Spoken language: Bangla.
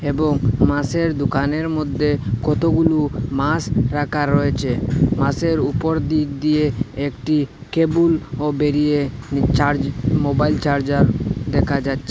এবং মাসের দোকানের মধ্যে কতগুলু মাস রাখা রয়েছে মাসের ওপর দিক দিয়ে একটি কেবুল ও বেরিয়ে চার্জ মোবাইল চার্জার দেখা যাচ্ছ --